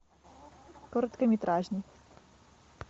короткометражный